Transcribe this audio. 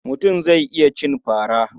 Mutum zai iya cin fara.